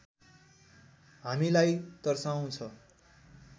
हामीलाई तर्साउँछ